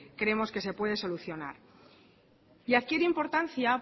creemos que se puede solucionar y adquiere importancia